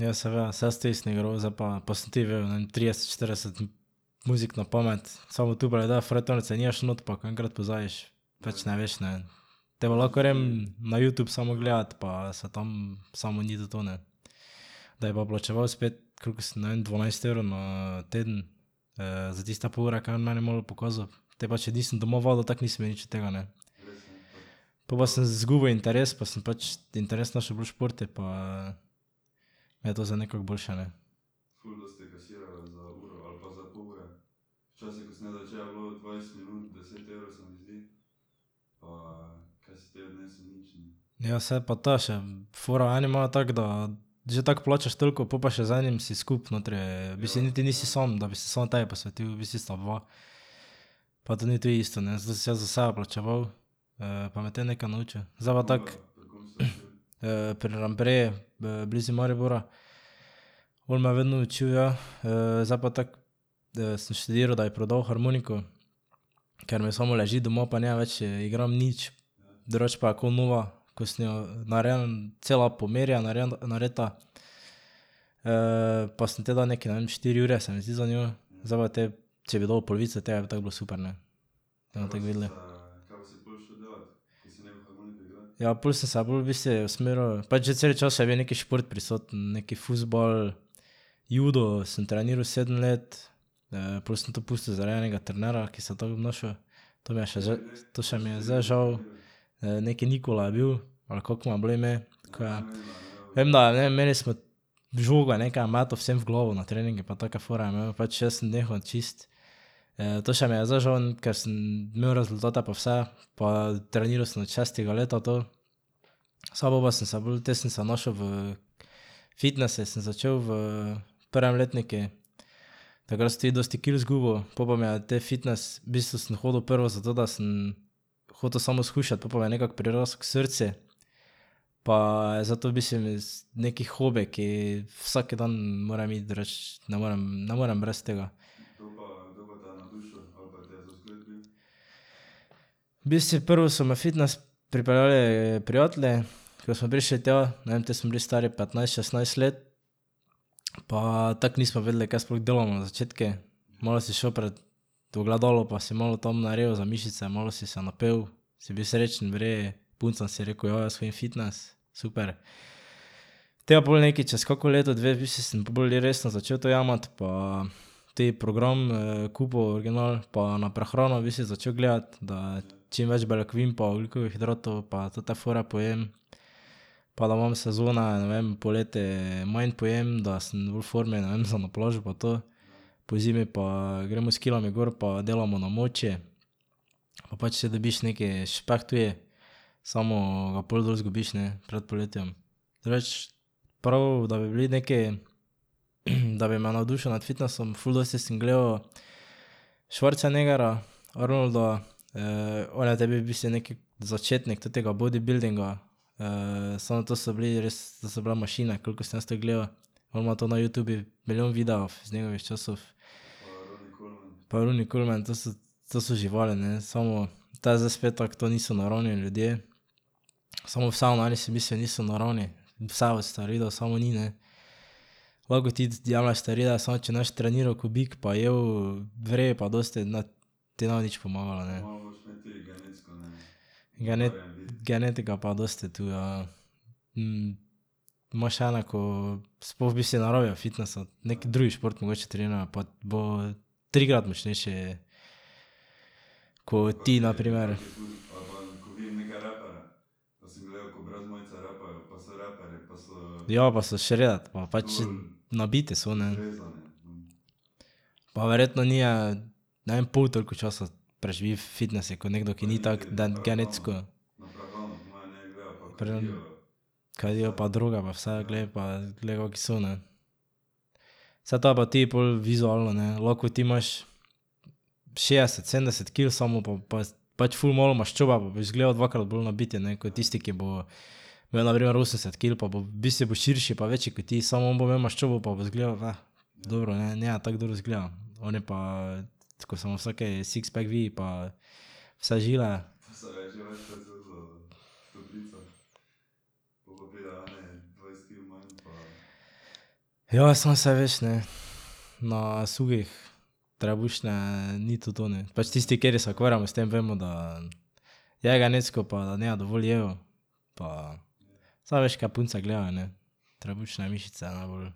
Ja, seveda, saj jaz tudi sem igral, zdaj pa, pa sem tudi vedel, ne vem, trideset, štirideset muzik na pamet, samo tu pa ne dajo, frajtonarice nimaš noter, pa ko enkrat pozabiš, pač ne veš, ne. Te pa lahko grem na Youtube samo gledat pa se tam, samo ni to to, ne. Da bi pa plačeval spet koliko sem, ne vem, dvanajst evrov na teden za tiste pol ure, ka je on meni malo pokazal, te pa če nisem doma vadil, tako nisem imel nič od tega, ne. Po pa sem zgubil interes pa sem pač interes našel bolj v športu pa mi je to zdaj nekako boljše, ne. Ja, saj, pa to je še fora, eni imajo tako, da že tako plačaš toliko, pol pa še z enim si skupaj notri, v bistvu niti nisi sam, da bi se samo tebi posvetil, v bistvu sta dva. Pa tudi ni tu isto, ne, to sem si jaz za sebe plačeval, pa me je te nekaj naučil. Zdaj pa tako. pri Lambreji blizu Maribora. On me je vedno učil, ja. zdaj pa tako sem študiral, da bi prodal harmoniko, ker mi samo leži doma pa ne več igram nič. Drugače pa je ko nova. Ko sem jo cela po meri je narejena. pa sem te dal nekaj, ne vem, štiri jurje, se mi zdi, za njo. Zdaj pa te, če bi dobil polovico tega, bi tako bilo super, ne. Bomo tako videli. Ja, pol sem se pa bolj v bistvu usmeril, pač že cel čas je bil nekaj šport prisoten, nekaj fuzbal, judo sem treniral sedem let, pol sem to pustil zaradi enega trenerja, ki se je tako obnašal. To mi je še zdaj, to še mi je zdaj žal. Neki Nikola je bil, ali kako mu je bilo ime, ko, ja. Vem, da, ne vem, imeli smo žogo nekaj je metal vsem v glavo na treningu pa take fore je imel, pač jaz sem nehal čisto. To še mi je zdaj žal, ker sem imel rezultate pa vse pa treniral sem od šestega leta to. Saj po pa sem se bolj, te sem se našel v fitnesu, sem začel v prvem letniku, takrat sem tudi dosti kil zgubil, pol pa mi je te fitnes, v bistvu sem hodil prvo zato, da sem hotel samo shujšati, pol pa mi je nekako prirasel k srcu. Pa zdaj to v bistvu mi neki hobi, ki vsak dan moram iti, drugače ne morem, ne morem brez tega. V bistvu prvo so me fitnes pripeljali prijatelji, ko smo prišli tja, ne vem, te smo bili stari petnajst, šestnajst let. Pa tako nismo vedeli, kaj sploh delamo na začetku, malo si šel pred ogledalo pa si malo tam naredil za mišice, malo si se napel, si bil srečen, v redu, puncam si rekel, ja, jaz hodim v fitnes, super. Te pa pol nekaj čez kako leto, dve, v bistvu sem pa bolj resno začel to jemati pa tudi program kupil original pa na prehano v bistvu začel gledati, da čim več beljakovin pa ogljikovih hidratov pa te fore pojem. Pa da imam sezone, ne vem, poleti manj pojem, da sem bolj v formi, ne vem, za na plažo pa to. Pozimi pa gremo s kilami gor pa delamo na moči. Pa pač še dobiš neki špeh tudi, samo ga pol dol zgubiš, ne, pred poletjem Drugače, prav da bi bili neki, da bi me navdušil nad fitnesom, ful dosti sem gledal Schwarzeneggerja, Arnolda, on je te bil v bistvu neki začetnik tega bodibildinga. samo to so bili res, to so bile mašine, kolikor sem jaz to gledal. On ima to na Youtubu milijon videov iz njegovih časov. Pa Ronnie Coleman, to so to so živali, ne, samo, te je zdaj spet tako, to niso naravni ljudje, samo vseeno oni si v bistvu niso naravni. Vse od steroidov samo ni, ne. Lahko ti jemlješ steroide, samo če ne boš treniral ko bik pa jedel v redu pa dosti, ne, ti ne bo nič pomagalo, ne. genetika je pa dosti tu, ja. imaš ene, ko sploh v bistvu ne rabijo fitnesa, neki drug šport mogoče trenirajo, pa bo trikrat močnejši. Ko ti, na primer. Ja, pa so shredded pa pač nabiti so, ne. Pa verjetno ni, ne vem, pol toliko časa preživi v fitnesu ko nekdo, ki ni tako genetsko. Kadijo pa droge pa vse, glej pa glej, kaki so, ne. Saj to pa ti pol vizualno, ne, lahko ti imaš šestdeset sedemdeset kil, samo po pač ful malo maščobe pa boš izgledal dvakrat bolj nabit, ne, ko tisti, ki bo imel na primer osemdeset kil pa bo, v bistvu bo širši pa večji ko ti, samo on bo imel maščobo, pa bo izgledal, ne. Dobro, ne, ne tako dobro izgleda, oni pa, ko se mu vsaki sixpack vidi pa vse žile. Ja, samo saj veš, ne. Na suhih trebušne ni to to, ne. Pač tisti, kateri se ukvarjamo s tem, vemo, da je genetsko pa da ne dovolj jejo pa sam veš, kaj punce gledajo, ne. Trebušne mišice najbolj.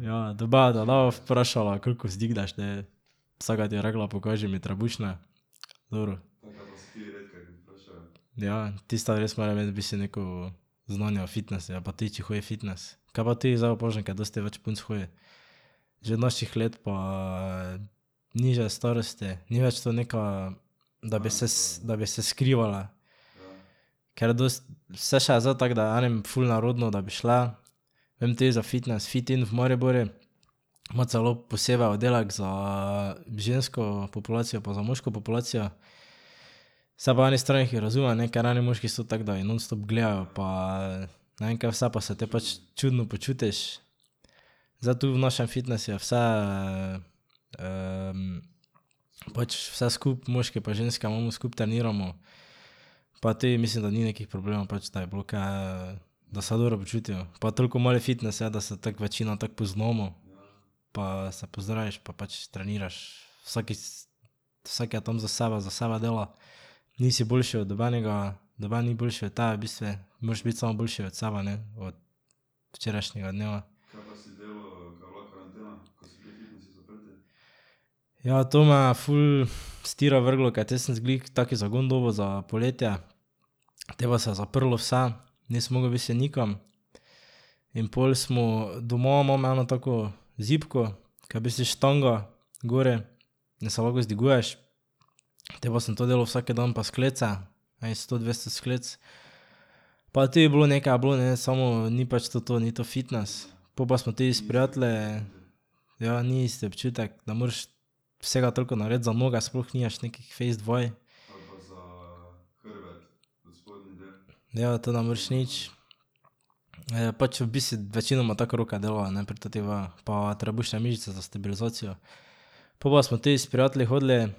Ja, ja, te baba ne bo vprašala, koliko vzdigneš, ne. Vsaka ti bo rekla, pokaži mi trebušne. Dobro. Ja, tista res more imeti v bistvu neko znanje o fitnesu ali pa tudi če hodi v fitnes, kaj pa ti, zdaj opažam, da dosti več punc hodi. Že naših let pa nižje starosti, ni več to neka, da bi se da bi se skrivala, ker se še je zdaj tako, da je enim ful nerodno, da bi šle, vem tudi za fitnes Fitinn v Mariboru, ima celo posebej oddelek za žensko populacijo pa za moško populacijo. Saj po eni strani jih razumem, ne, ker eni moški so tako, da jih nonstop gledajo pa ne vem, kaj vse, pa se te pač čudno počutiš. Zdaj tu v našem fitnesu je vse pač vse skupaj moški pa ženske imamo, skupaj treniramo, pa tudi mislim, da ni nekih problemov, pač da bi bilo kaj da se dobro počutijo, pa toliko mali fitnes je, da se tako večina tako poznamo. Pa se pozdraviš pa pač treniraš, vsak, vsak je tam za sebe, za sebe dela, nisi boljši od nobenega, noben ni boljši od tebe, v bistvu moraš biti samo boljši od sebe, ne, od včerajšnjega dneva. Ja, to me je ful s tira vrglo, ke te sem glih tak zagon dobil za poletje. Potem pa se je zaprlo vse. Nisi mogel v bistvu nikam. In pol smo, doma imam eno tako zibko, ka je v bistvu štanga gori, da se lahko vzdiguješ. Te pa sem to delal vsak dan pa sklece. Enih sto, dvesto sklec. Pa tudi bilo, nekaj je bilo ne, samo ni pač to to, ni to fitnes, po pa smo tudi s prijatelji ... Ja, ni isti občutek, ne moreš vsega toliko narediti, za noge sploh nimaš nekih fejst vaj. Ja, to ne moreš nič. Pač v bistvu večinoma tako roke delajo, ne, pri totih vajah pa trebušne mišice za stabilizacijo. Pol pa smo tudi s prijatelji hodili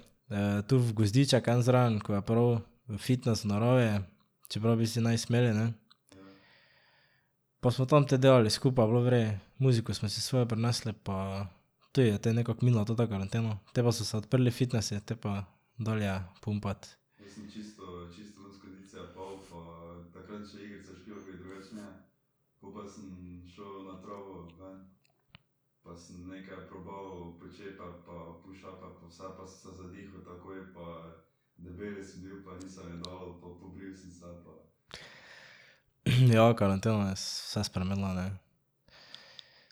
tu v gozdiček en zraven, ko je prav fitnes v naravi, čeprav v bistvu ne bi smeli, ne. Pa smo tam te delali skupaj, je bilo v redu, muziko smo si svojo prinesli pa tudi je te nekako minila ta karantena, te pa so se odprli fitnesi, te pa dalje pumpati. Ja, karantena je vse spremenila, ne.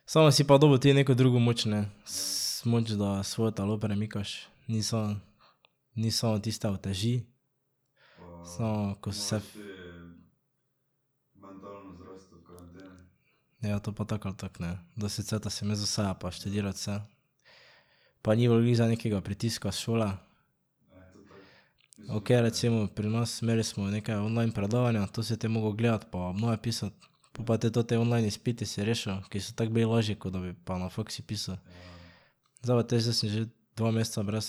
Samo si pa dobil ti neko drugo moč, ne. moč, da svoje telo premikaš, ni samo ni samo tiste uteži, samo ko ... Ja, to pa tako ali tako, ne. Dosti cajta si imel za sebe pa študirati vse. Pa ni bilo glih zdaj nekega pritiska s šole. Okej, recimo, pri nas, imeli smo nekaj online predavanja, to si te moral gledati pa obnove pisati. Po pa te tote online izpiti si rešil, ki so tako bili lažji, ko pa da bi na faksu pisal. Zdaj pa te, zdaj sem že dva meseca brez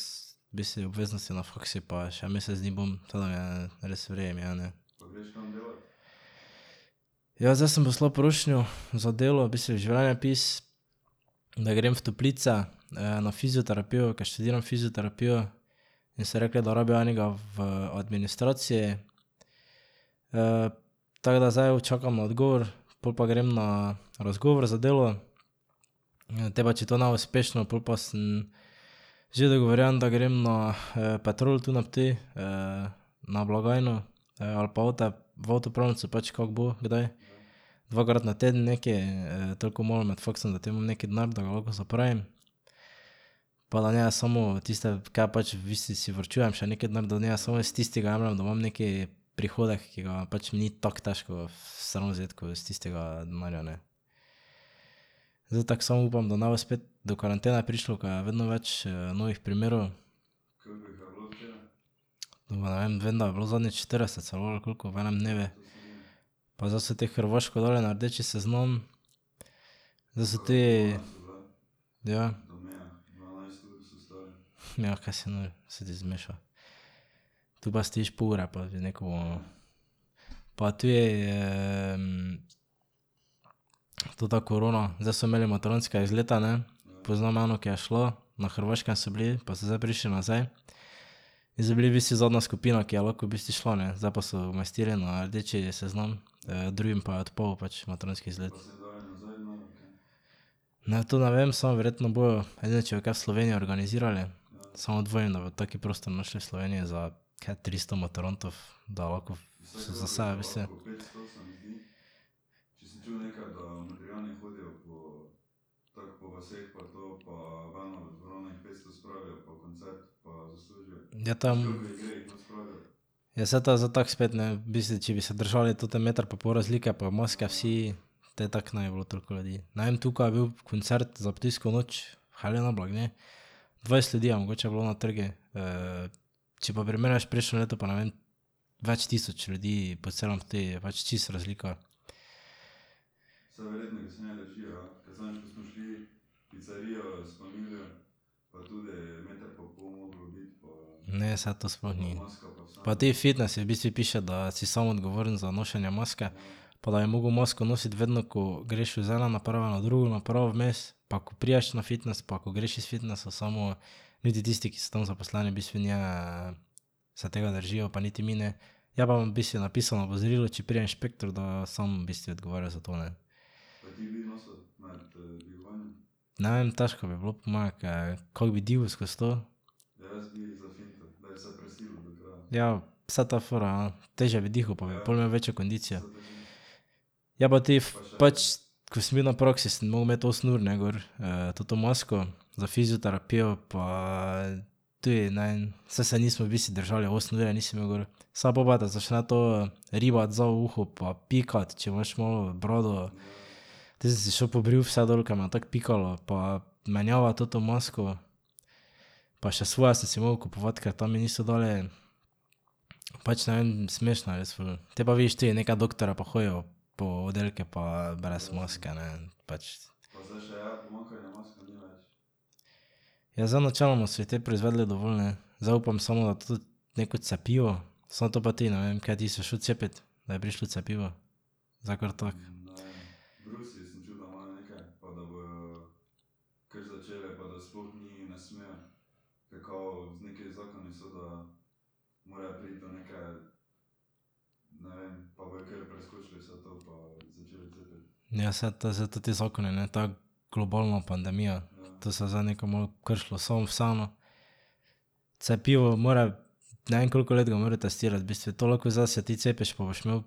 v bistvu obveznosti na faksu pa še mesec dni bom, tako da je, res v redu mi je, ne. Ja, zdaj sem poslal prošnjo za delo, v bistvu življenjepis, da grem v toplice na fizioterapijo, ker študiram fizioterapijo, in so rekli, da rabijo enega v administraciji. tako da zdaj čakam na odgovor, pol pa grem na razgovor za delo. Te pa če to ne bo uspešno, pol pa sem že dogovorjen, da grem na Petrol tu na Ptuju na blagajno ali pa avte, v avtopralnico, pač kako bo kdaj. Dvakrat na teden nekaj, toliko malo med faksom, da te imam neki denar, da ga lahko zapravim. Pa da ne samo tiste, ke pač v bistvu si varčujem še neki denar, da ne samo iz tistega jemljem, da imam neki prihodek, ki ga pač ni tako težko vstran vzeti ko iz tistega denarja, ne. Zdaj tako samo upam, da ne bo spet do karantene prišlo, ko je vedno več novih primerov. ne vem, vem, da je bilo zadnjič štirideset celo ali koliko v enem dnevu. Pa zdaj so te Hrvaško dali na rdeči seznam. Zdaj so tudi, ja. Ja, kaj si nor, se ti zmeša. Tu pa stojiš pol ure pa že nekomu ... Pa tudi ta korona, zdaj so imeli maturantske izlete, ne. Poznam eno, ki je šla, na Hrvaškem so bili pa so zdaj prišli nazaj. In so bili v bistvu zadnja skupina, ki je lahko v bistvu šla ne, zdaj pa so jo umestili na rdeči seznam, drugim pa je odpadel pač maturantski izlet. Ne, to ne vem, samo verjetno bojo, edino če bojo kaj v Sloveniji organizirali. Samo dvomim, da bojo tak prostor našli v Sloveniji za ker tristo maturantov, da lahko so za sebe v bistvu. Ja, to je ... Ja, saj to je zdaj tako spet, ne, v bistvu, če bi se držali tote meter pa pol razlike pa maske vsi, te tako ne bi bilo toliko ljudi. Ne vem, tukaj je bil koncert za Ptujsko noč, Helena Blagne, dvajset ljudi je mogoče bilo na trgu, če pa primerjaš prejšnje leto, pa ne vem, več tisoč ljudi po celem Ptuju, je pač čisto razlika. Ne, saj to sploh ni. Pa tudi fitnesi, v bistvu piše, da si sam odgovoren za nošenje maske pa da bi moral masko nositi vedno, ko greš z ene naprave na drugo napravo vmes pa ko prideš na fitnes pa ko greš iz fitnesa, samo niti tisti, ki so tam zaposleni, v bistvu ne se tega držijo pa niti mi ne. Je pa v bistvu napisano opozorilo, če pride inšpektor, da sam v bistvu odgovarjaš za to, ne. Ne vem, težko bi bilo po moje, ker kako bi dihal skozi to? Ja, saj ta fora ja, težje bi dihal pa bi pol imel večjo kondicijo. Je pa tudi pač, ko sem bil na praksi, sem moral imeti osem ur, ne, gor toto masko. Za fizioterapijo. Pa tudi, ne, saj se nismo v bistvu držali, osem ur je nisi imel gor, samo po pa te začne to ribati za uho pa pikati, če imaš malo brado. Te sem si šel pobril vse dol, ker me tako pikalo pa menjavati toto masko pa še svoje sem si moral kupovati, ker tam mi niso dali. Pač ne vem, smešno je res ful. Te pa vidiš te neke doktorje pa hodijo po oddelku pa brez maske, ne, pač. Ja, zdaj načeloma so jih te proizvedli dovolj, ne. Zdaj upam samo na tudi neko cepivo, samo to pa tudi, ne vem, kaj ti bi se šel cepit, da bi prišlo cepivo? Zdaj kar tako. Ja, saj to, zdaj toti zakon je ne tako globalna pandemija, to se zdaj nekaj malo kršilo, samo vseeno. Cepivo mora, ne vem, koliko let ga morajo testirati, v bistvu, to lahko zdaj se ti cepiš pa boš imel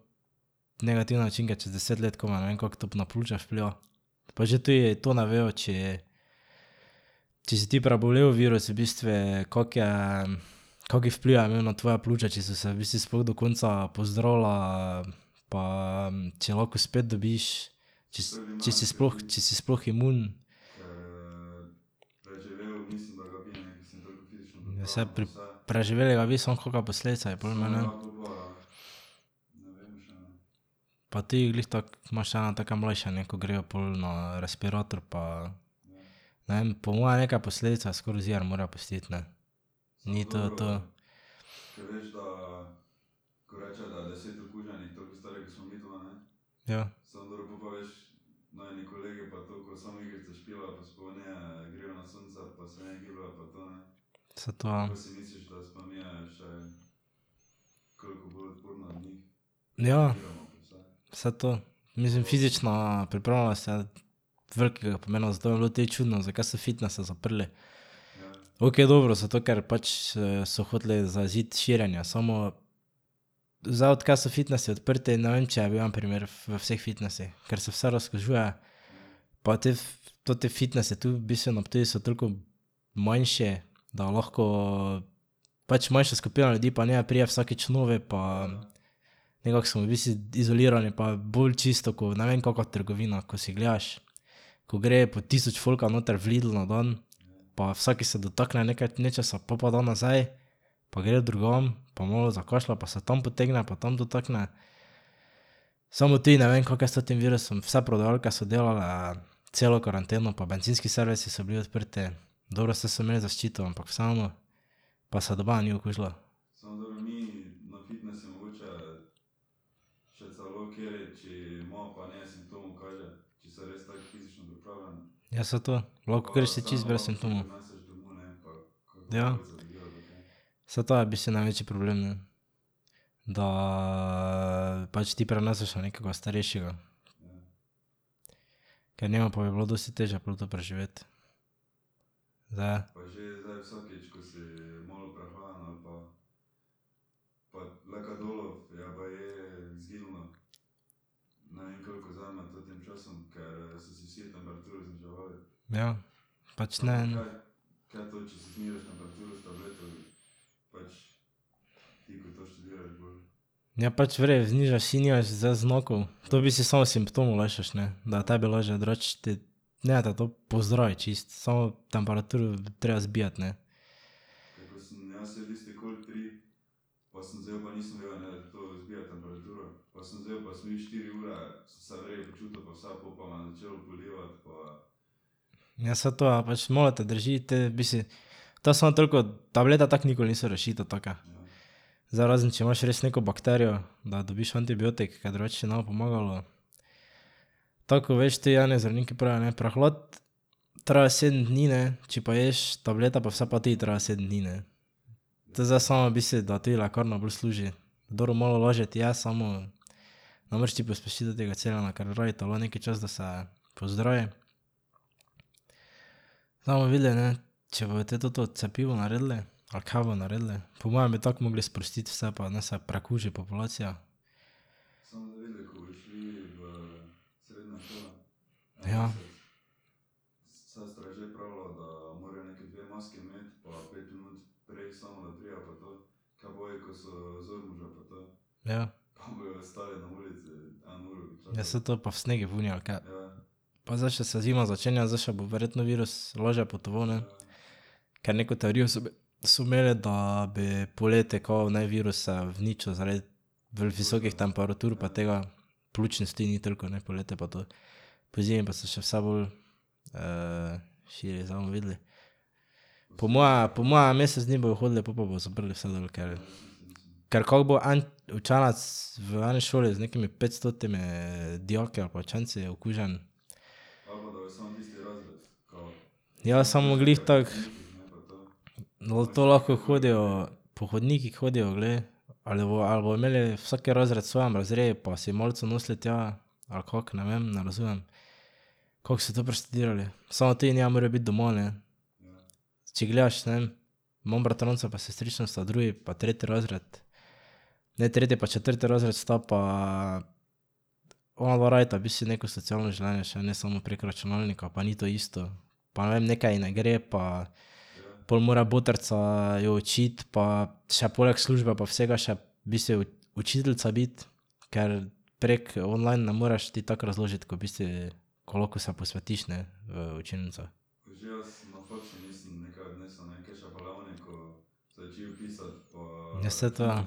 negativne učinke čez deset let komaj, ne vem, kako to na pljuča vpliva. Pa že tudi to ne vejo, če če si ti prebolel virus, v bistvu, kako je, kak vpliv je imel na tvoja pljuča, če so se v bistvu sploh do konca pozdravila pa če lahko spet dobiš, če če si sploh, če si sploh imun. Saj preživeli ga bi, samo kake posledice bi pol imeli, ja. Pa tudi glih tako imaš ene take mlajše, ne, ki grejo pol na respirator, pa ne vem, po moje neke posledice skoraj ziher mora pustiti, ne. Ni to to. Ja. Saj to, ja. Ja. Saj to. Mislim, fizična pripravljenost je velikega pomena za zdravo telo, te je čudno, zakaj so fitnese zaprli. Okej, dobro, zato ker pač so hoteli zajeziti širjenje, samo zdaj, odkar so fitnesi odprti, ne vem, če je bil en primer v vseh fitnesih, ker se vse razkužuje. Pa toti fitnesi tu v bistvu na Ptuju so toliko manjši, da lahko pač manjša skupina ljudi pa ne pride vsakič novi pa ... Nekako smo v bistvu izolirani pa bolj čisto ko ne vem kaka trgovina, ko si gledaš, ko gre po tisoč folka noter v Lidl na dan pa vsak se dotakne nekaj nečesa, pol pa da nazaj pa gre drugam pa malo zakašlja pa se tam potegne pa tam dotakne. Samo tudi ne vem, kako je s tem virusom, vse prodajalke so delale celo karanteno pa bencinski servisi so bili odprti, dobro, saj so imeli zaščito, ampak vseeno pa se nobena ni okužila. Ja, saj to, lahko res si čisto brez simptomov. Ja. Saj to je v bistvu največji problem, ne. Da pač ti preneseš na nekoga starejšega. Ker njemu pa bi bilo dosti težje pol to preživeti. Zdaj je. Ja. Pač ne. Ja pač v redu, znižaš si, nimaš zdaj znakov, to v bistvu samo simptome lajšaš, ne, da je tebi lažje, drugače ti ne te to pozdravi čisto, samo temperaturo je treba zbijati, ne. Ja, saj to, ja. Pač malo te drži, potem v bistvu to samo toliko, tablete tako nikoli niso rešitev taka. Zdaj razen če imaš res neko bakterijo, da dobiš antibiotik, ker drugače ti ne bo pomagalo. Tako, veš, tudi eni zdravniki pravijo, ne, prehlad traja sedem dni, ne, če pa ješ tablete pa vse, pa tudi traja sedem dni, ne. To zdaj samo v bistvu, da tudi lekarna bolj služi. Dobro, malo lažje ti je, samo ne moreš ti pospešiti tega celjenja, ker rabi telo neki čas, da se pozdravi. Zdaj bomo videli, ne, če bojo potem to cepivo naredili, ali kaj bojo naredili, po mojem bi tako morali sprostiti vse pa naj se prekuži populacija. Ja. Ja. Ja, saj to pa v snegu zunaj, ali kaj. Pa zdaj še se zima začenja, zdaj še bo verjetno virus lažje potoval, ne. Ker neko teorijo so so imeli, da bi poleti kao naj virus se uničil zaradi visokih temperatur pa tega. Pljučnic tudi ni toliko, ne, poleti pa to. Pozimi pa se še vse bolj širi, zdaj bomo videli. Po moje, po moje mesec dni bojo hodili, pol pa bojo zaprli vse dol, ker. Ker kako bo en učenec v eni šoli z nekimi petstotimi dijaki ali pa učenci okužen. Ja, samo glih tako. To lahko hodijo, po hodnikih hodijo, glej. Ali ali bojo imeli vsak razred v svojem razredu pa si malico nosili tja ali kako, ne vem, ne razumem, kako so to preštudirali. Samo tudi ne morejo biti doma, ne. Če gledaš, ne vem, imam bratranca pa sestrično, sta drugi pa tretji razred. Ne, tretji pa četrti razred sta pa onadva rabita v bistvu neko socialno življenje še, ne samo prek računalnika pa ni to isto. Pa ne vem, nekaj ji ne gre pa pol mora botrica jo učiti pa še poleg službe pa vsega še v bistvu ji učiteljica biti. Ker prek online ne moreš ti tako razložiti, ko v bistvu ko lahko se posvetiš, ne, v učilnicah. Ja, saj to ja.